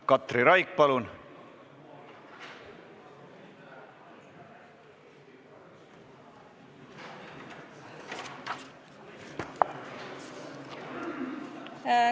Katri Raik, palun!